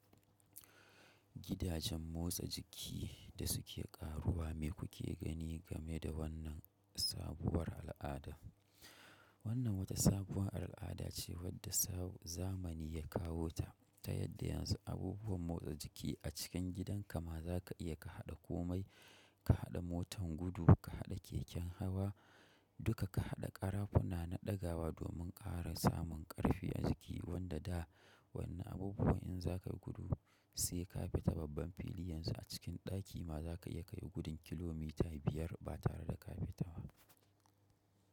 Gidajen motsa jiki da su ke ƙaruwa me kuke gani game da wannan sabuwar al'ada? Wannan wata sabuwar al'ada ce wacce zamani ya kawo ta ta yadda yanzu abubuwan motsa jiki a cikin gidan ka ma za ka iya ka haɗa komai, ka haɗa motan gudu, ka haɗa keken hawa duka ka haɗa ƙarafuna na ɗagawa domin ƙara samun ƙarfi a jiki wanda da wannan abubuwan in za k yia gudu sai ka bi ta babban fili yanzu a cikin ɗaki ma za ka iya kai gudun kilomita biyar ba tare da ka fita ba.